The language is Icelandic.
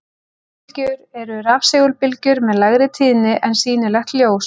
Örbylgjur eru rafsegulbylgjur með lægri tíðni en sýnilegt ljós.